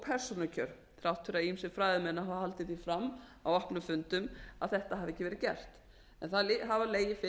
persónukjör þrátt fyrir að ýmsir fræðimenn hafi haldið því fram á opnum fundum að þetta hafi ekki verið gert en það hafa legið fyrir